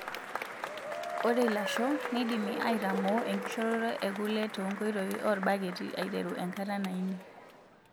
Ore ilasho neidimi aitamoo enkishoroto ekule tenkoitoi oorbaketi aiteru enkata nainii.